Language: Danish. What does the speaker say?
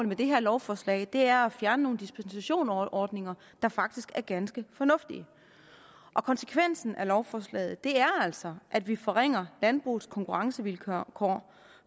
med det her lovforslag er at fjerne nogle dispensationsordninger der faktisk er ganske fornuftige konsekvensen af lovforslaget er altså at vi forringer landbrugets konkurrencevilkår